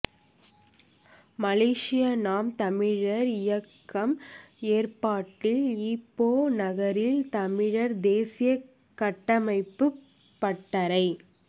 மலேசிய நாம் தமிழர் இயக்கம் ஏற்பாட்டில் ஈப்போ நகரில் தமிழர் தேசிய கட்டமைப்பு பட்டறை